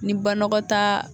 Ni banagɔtaa